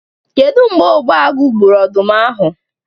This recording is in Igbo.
Kedu mgbe Ogbuagu gburu ọdụm ahụ?